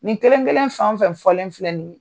Nin kelen kelen fɛn o fɛn fɔlen filɛ nin ye